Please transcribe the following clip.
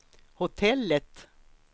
hotellet